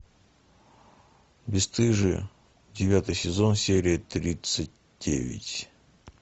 бесстыжие девятый сезон серия тридцать девять